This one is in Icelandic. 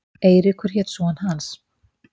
Eiríkur hét son hans.